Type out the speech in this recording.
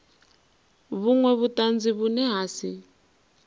vhunwe vhutanzi vhune ha si